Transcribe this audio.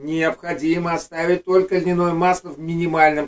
необходимо оставить только дневное масло в минимальном